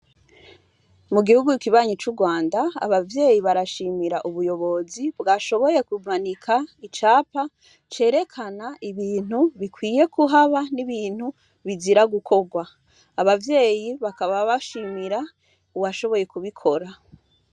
Mu gihugu kibanyi c'Urwanda, abavyeyi barashimira ubuyobozi, bwashoboye kimanika icapa, cerekana ibintu bikwiye kuhaba, n'ibintu bizira gukorwa. Abavyeyi bakaba bashimira uwashoboye kubikora.